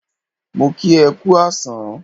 Mo kí e kú àsán